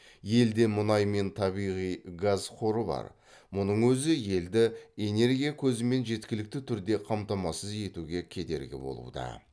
елде мұнай мен табиғи газ қоры бар мұның өзі елді энергия көзімен жеткілікті түрде қамтамасыз етуге кедергі болуда